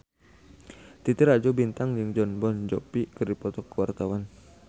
Titi Rajo Bintang jeung Jon Bon Jovi keur dipoto ku wartawan